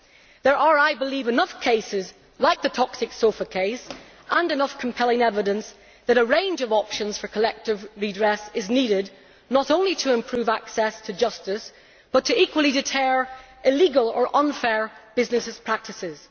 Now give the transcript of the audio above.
There are, I believe, enough cases like the toxic sofa case with enough compelling evidence to prove that a range of options for collective redress is needed, not only to improve access to justice, but equally to deter illegal or unfair business practices.